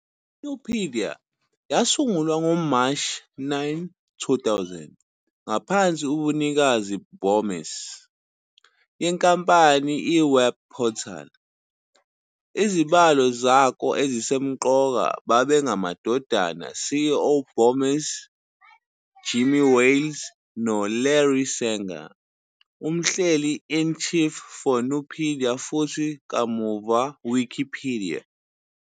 Nupedia yasungulwa ngoMashi 9, 2000, ngaphansi ubunikazi Bomis, yenkampani a web portal. Izibalo zako ezisemqoka babengamadodana CEO Bomis Jimmy Wales no Larry Sanger, umhleli-in-chief for Nupedia futhi kamuva Wikipedia.